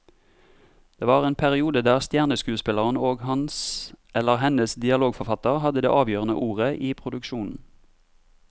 Det var en periode der stjerneskuespilleren og hans eller hennes dialogforfatter hadde det avgjørende ordet i produksjonen.